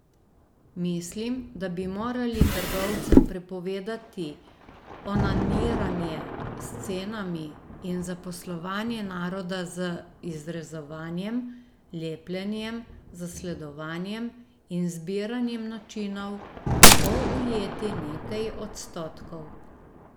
Mislim, da bi morali trgovcem prepovedati onaniranje s cenami in zaposlovanje naroda z izrezovanjem, lepljenjem, zasledovanjem in zbiranjem načinov, kako ujeti nekaj odstotkov.